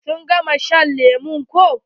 Sun gama shan lemu ko.